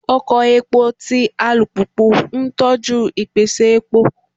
Oko epo ti alupupu n tọju ipese epo